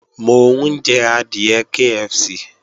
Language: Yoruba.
Mò ń jẹ adìẹ KFC